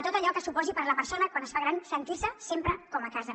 tot allò que suposi per a la persona quan es fa gran sentir se sempre com a casa